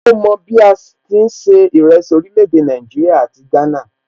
Ó mọ bí a ti ń se ìrẹsì orílè èdè Nàìjíríà àti ti Ghana